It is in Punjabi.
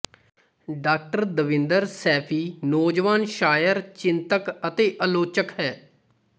ਡਾ ਦਵਿੰਦਰ ਸੈਫ਼ੀ ਨੌਜਵਾਨ ਸ਼ਾਇਰ ਚਿੰਤਕ ਅਤੇ ਆਲੋਚਕ ਹੈ